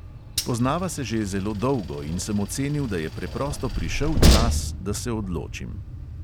Poznava se že zelo dolgo in sem ocenil, da je preprosto prišel čas, da se odločim.